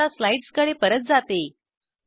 मी आता स्लाईड्सकडे परत जाते